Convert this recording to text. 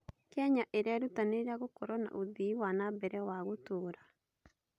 Kenya ĩrerutanĩria gũkorwo na ũthii wa na mbere wa gũtũũra.